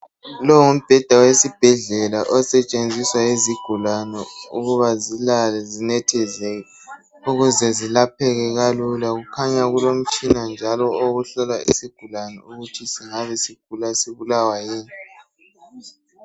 Longumbheda wesibhedlela osetshenziswa yizigulane ukuba zilale zinethezeke ukuze zilapheke kalula .Kukhanya kulomtshina njalo owokuhlola isigulane ukuthi singabe sigula sibulawa yini .